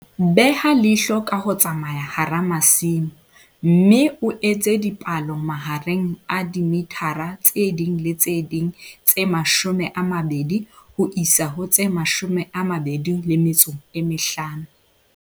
Beha leihlo ka ho tsamaya hara masimo, mme o etse dipalo mahareng a dimithara tse ding le tse ding tse 20 ho isa ho tse 25.